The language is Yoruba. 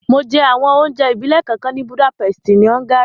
Mo jẹ àwọn onjẹ ìbílẹ̀ kánkan ni Budapest ni Hungary